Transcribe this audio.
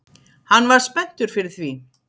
Hann var spenntur fyrir því